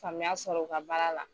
Famuya sɔrɔ u ka baara la.